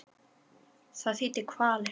Það þýddi kvalir.